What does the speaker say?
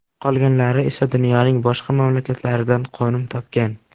Qolganlari esa dunyoning boshqa mamlakatlaridan qo‘nim topgan.